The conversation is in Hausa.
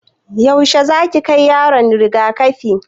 Yaushe zaki kai yaronki riga-kafi?